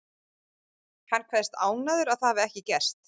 Hann kveðst ánægður að það hafi ekki gerst.